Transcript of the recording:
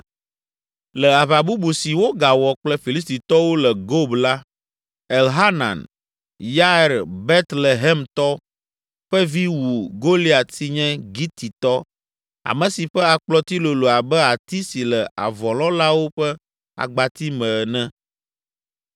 Le aʋa bubu si wogawɔ kple Filistitɔwo le Gob la, Elhanan, Yair Betlehemtɔ ƒe vi wu Goliat si nye Gititɔ, ame si ƒe akplɔti lolo abe ati si le avɔlɔ̃lawo ƒe agbati me ene.